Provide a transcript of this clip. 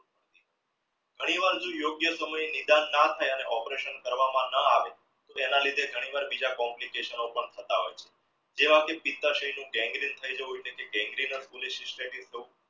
ઘણીવાર યોગ્ય સમયે નિદાન ના થયા operation કરવામાં ન આવે તેના લીધે ઘણી વાર બીજા complication પણ થતા હોઈ છે જેવા કે થવું